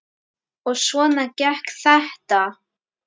Og svona gekk þetta.